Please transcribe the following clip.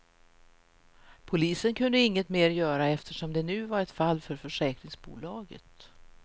Polisen kunde inget mer göra, eftersom det nu var ett fall för försäkringsbolaget.